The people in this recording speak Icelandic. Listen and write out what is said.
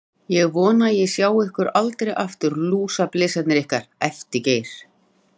Ég vona að ég sjái ykkur aldrei aftur, lúsablesarnir ykkar, æpti Geir.